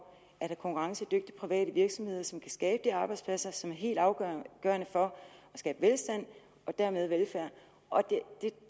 at have konkurrencedygtige private virksomheder som kan skabe de arbejdspladser som er helt afgørende for at skabe velstand og dermed velfærd